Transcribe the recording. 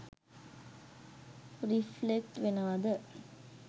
Reflect වෙනවද?